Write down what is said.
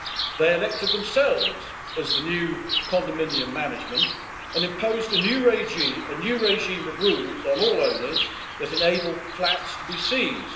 They elected themselves as the new condominium management and imposed a new regime of rules on all owners that enable flats to be seized.